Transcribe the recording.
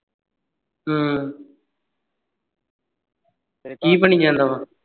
ਹਮ ਕੀ ਬਣੀ ਜਾਂਦਾ ਆ